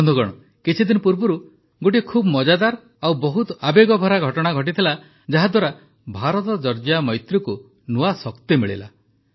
ବନ୍ଧୁଗଣ କିଛିଦିନ ପୂର୍ବରୁ ଗୋଟିଏ ବହୁତ ମଜାଦାର ଓ ବହୁତ ଆବେଗଭରା ଘଟଣା ଘଟିଥିଲା ଯାହାଦ୍ୱାରା ଭାରତଜର୍ଜିଆ ମୈତ୍ରୀକୁ ନୂଆ ଶକ୍ତି ମିଳିଲା